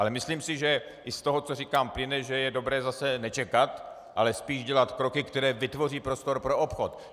Ale myslím si, že i z toho, co říkám, plyne, že je dobré zase nečekat, ale spíš dělat kroky, které vytvoří prostor pro obchod.